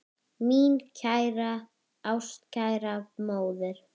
Mín kæra, ástkæra móðir.